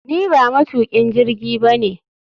Ni ba matukin jirgi ba ne